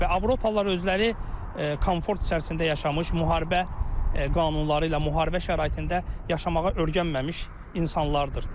Və Avropalılar özləri komfort içərisində yaşamış, müharibə qanunları ilə, müharibə şəraitində yaşamağa öyrənməmiş insanlardır.